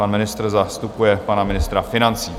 Pan ministr zastupuje pana ministra financí.